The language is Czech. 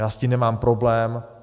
Já s tím nemám problém.